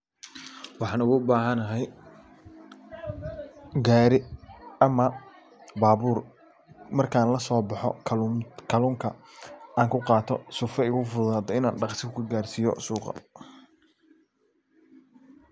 Waxan ugu bahanay gari ama babur markan laso baxo kalunka an ku qato sifa ay igu fududato si dhaqsi ku garsiyo suqa.